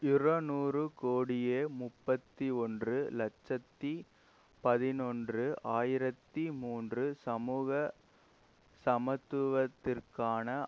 இரநூறு கோடியே முப்பத்தி ஒன்று இலட்சத்தி பதினொன்று ஆயிரத்தி மூன்று சமூக சமத்துவத்திற்கான